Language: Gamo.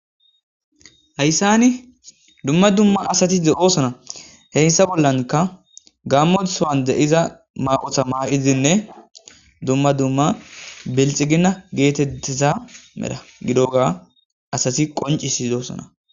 hayssani dumma dumma asatiz deosana heyssa bollanka gammo sowan de iza maqotha ma7izinne dumma dumma bilxigina geetettesa mera gidoga asati qoncisi doosana